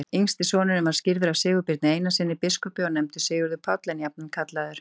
Yngsti sonurinn var skírður af Sigurbirni Einarssyni biskupi og nefndur Sigurður Páll, en jafnan kallaður